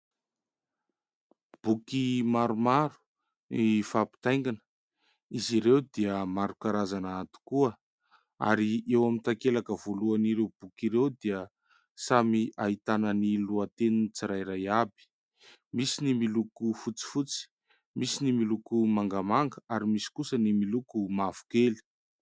Boky maromaro mifampitaingana. Izy ireo dia maro karazana tokoa ary eo amin'ny takelaka voalohan'ireo boky ireo dia samy ahitana ny lohateniny tsirairay avy. Misy ny miloko fotsifotsy, misy ny miloko mangamanga ary misy kosa ny miloko mavokely.